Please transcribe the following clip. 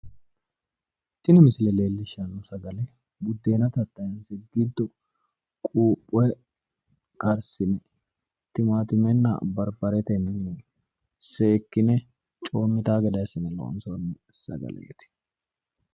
tini misile leellishshanno sagale buddeena tattayinse giddo quuphe karsine timaattimetenna barbaretenni seekkine coommitanno gede assine loonsoonni sagaleeti.